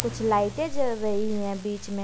कुछ लाइटे जल रही हैं बीच में।